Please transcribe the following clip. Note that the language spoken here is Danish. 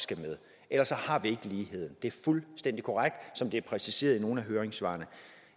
skal med ellers har vi ikke lighed det er fuldstændig korrekt som det er præciseret i nogle af høringssvarene